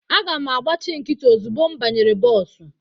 Aga m agbachi nkịtị ozugbo m banyere bọọsụ.